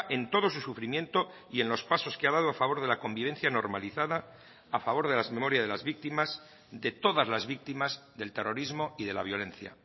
en todo su sufrimiento y en los pasos que ha dado a favor de la convivencia normalizada a favor de las memorias de las víctimas de todas las víctimas del terrorismo y de la violencia